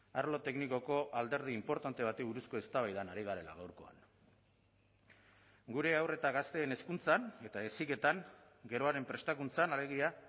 arlo teknikoko alderdi inportante bati buruzko eztabaidan ari garela gaurkoan gure haur eta gazteen hezkuntzan eta heziketan geroaren prestakuntzan alegia